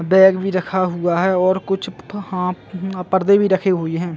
Bag भी रखा हुआ है और कुछ प हाफ पर्दे भी रखे हुई है।